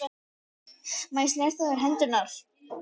Má ég snerta á þér hendurnar?